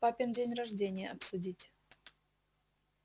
папин день рождения обсудить